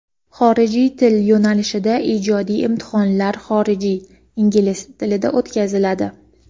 Xorijiy til yo‘nalishida ijodiy imtihonlar xorijiy (ingliz) tilda o‘tkaziladi.